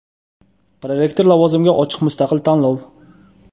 Prorektor lavozimiga ochiq mustaqil tanlov.